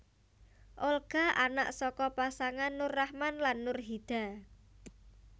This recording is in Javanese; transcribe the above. Olga anak saka pasangan Nur Rachman lan Nurhida